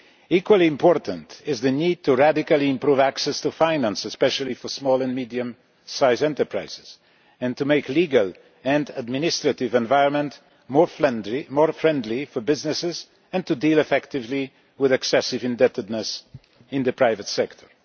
Equally important is the need to radically improve access to finance, especially for small and medium-sized enterprises, and to make the legal and administrative environment more friendly for businesses and to deal effectively with excessive indebtedness in the private sector.